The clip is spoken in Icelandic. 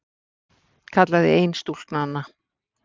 kallaði ein stúlknanna.